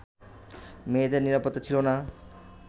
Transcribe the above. মেয়েদের নিরাপত্তা ছিল না